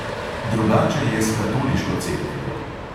Drugače je s katoliško cerkvijo.